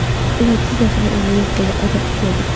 Ilojsiz narsaning o‘zi yo‘q”dedi Odil Ahmedov.